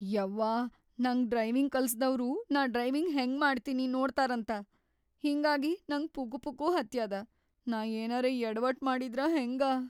ಯವ್ವಾ ನಂಗ್ ಡ್ರೈವಿಂಗ್‌ ಕಲಸ್ದವ್ರು ನಾ ಡ್ರೈವಿಂಗ್‌ ಹೆಂಗ ಮಾಡ್ತೀನಿ ನೋಡ್ತಾರಂತ ಹಿಂಗಾಗಿ ನಂಗ್ ಪುಕುಪುಕು ಹತ್ಯಾದ. ನಾ ಏನರೇ ಯಡವಟ್‌ ಮಾಡಿದ್ರ ಹೆಂಗ.